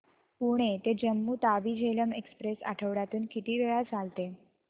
पुणे ते जम्मू तावी झेलम एक्स्प्रेस आठवड्यातून किती वेळा चालते